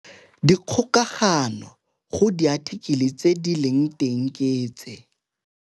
Dikgokagano go diathikele tse di leng teng ke tse -